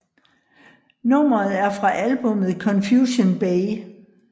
Nummeret er fra albummet Confusion Bay